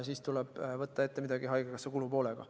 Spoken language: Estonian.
Siis tuleb võtta midagi ette haigekassa kulupoolega.